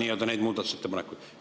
neid muudatusettepanekuid ei saagi tagasi võtta.